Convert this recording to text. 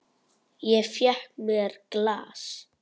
Ég fékk mér glas.